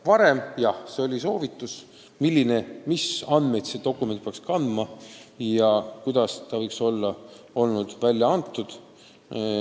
Varem olid jah soovitused, mis andmeid peaks need dokumendid kandma ja kuidas võiks neid välja anda.